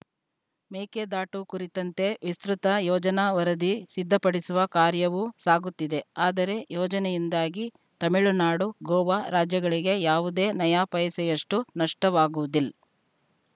ಮೇಕೆದಾಟು ಕುರಿತಂತೆ ವಿಸ್ತೃತ ಯೋಜನಾ ವರದಿ ಸಿದ್ಧಪಡಿಸುವ ಕಾರ್ಯವೂ ಸಾಗುತ್ತಿದೆ ಆದರೆ ಯೋಜನೆಯಿಂದಾಗಿ ತಮಿಳುನಾಡು ಗೋವಾ ರಾಜ್ಯಗಳಿಗೆ ಯಾವುದೇ ನಯಾಪೈಸೆಯಷ್ಟುನಷ್ಟವಾಗುವುದಿಲ್